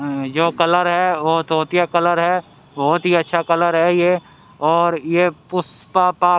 अ जो कलर है वो तोतिया कलर है बहुत ही अच्छा कलर है ये और यह पुष्पा पा--